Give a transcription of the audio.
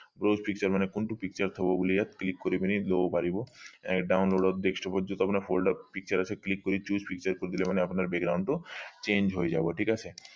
browse picture browse picture মানে কোনটো picture থব বুলি ইয়াত click কৰি পিনি লব পাৰিব download desktop যত আপোনাৰ folder picture আছে choice picture কৰি দিলে মানে আপোনাৰ background টো change হৈ যাব ঠিক আছে